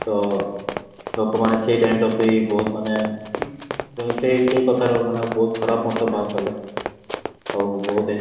ତ ଲୋକ ମାନେ ସେଇ time ଟା ବି ବହୁତ ମାନେ mean ସେଇ ସେଇ କଥାଟାକୁ ମାନେ ବହୁତ ଖରାପ ବାହାର କଲେ ଆଉ ବହୁତ